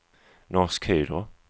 Norsk Hydro